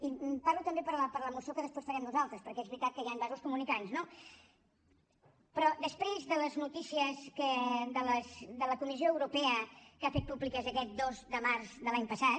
i parlo també per la moció que després farem nosaltres perquè és veritat que hi han vasos comunicants no però després de les notícies de la comissió europea que ha fet públiques aquest dos de març de l’any passat